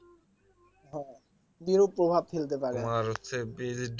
হ্যা বিরূপ প্রভাব ফেলতে পারে